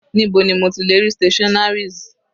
Níbo ni mo ti lè rí stationaries?